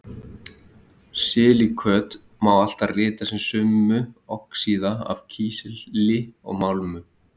Silíköt má alltaf rita sem summu oxíða af kísli og málmum.